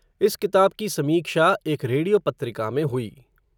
इस किताब की समीक्षा, एक रेडियो पत्रिका में हुई